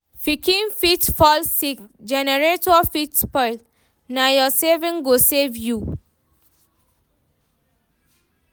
Pikin fit fall sick, generator fit spoil, na your savings go save you.